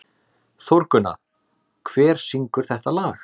Þórgunna, hver syngur þetta lag?